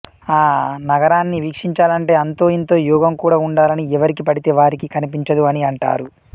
ఆ నగరాన్ని వీక్షించాలంటే అంతో ఇంతో యోగం కుడా ఉండాలని ఎవరికి పడితె వారికి కనిపించదు అని అంటారు